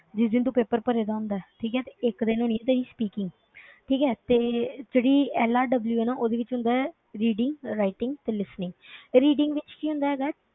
ਜਿਸ ਦਿਨ ਤੂੰ paper ਭਰੇਦਾ ਹੁੰਦਾ ਹੈ, ਠੀਕ ਹੈ ਤੇ ਇੱਕ ਦਿਨ ਹੋਣੀ ਹੈ ਤੇਰੀ speaking ਠੀਕ ਹੈ ਤੇ ਜਿਹੜੀ LRW ਹੈ ਨਾ ਉਹਦੇ ਵਿੱਚ ਹੁੰਦਾ ਹੈ reading, writing ਤੇ listening, reading ਵਿੱਚ ਕੀ ਹੁੰਦਾ ਹੈਗਾ ਹੈ,